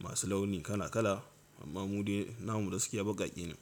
masu launi kala kala amma mu dai namu gaskiya baƙaƙe ne.